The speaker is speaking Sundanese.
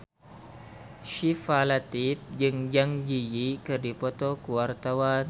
Syifa Latief jeung Zang Zi Yi keur dipoto ku wartawan